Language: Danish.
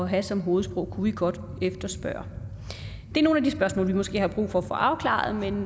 have som hovedsprog kunne vi godt efterspørge det er nogle af de spørgsmål vi måske har brug for at få afklaret men